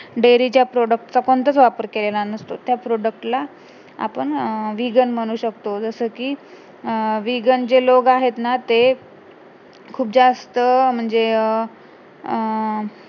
dairy च्या product चा पण तर वापर केलेला नसतो तर त्या product ला आपण vegan म्हणू शकतो जसेकी अं vegan जे लोक आहेत ना ते खूप जास्त म्हणजे अं अं